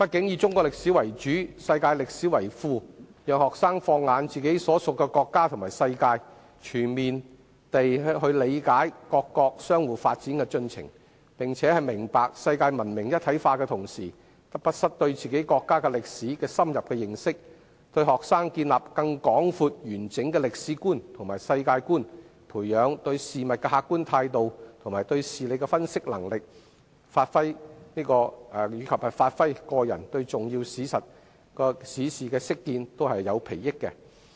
以中史為主，世界歷史為副，讓學生放眼自己所屬的國家和世界，全面理解各國相互發展的進程，並且在明白世界文明一體化的同時，亦不失對自己國家歷史的深入認識，這對學生建立更廣闊完整的歷史觀和世界觀，培養對事物的客觀態度和對事理的分析能力，以至發揮個人對重要史事的識見，都有裨益。